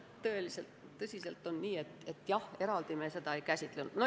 Tõesti on nii, et jah, eraldi me seda ei käsitlenud.